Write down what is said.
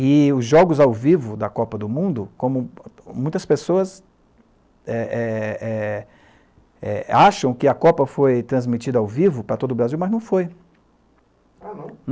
E os jogos ao vivo da Copa do Mundo, como muitas pessoas acham que a Copa foi transmitida ao vivo para todo o Brasil, mas não foi.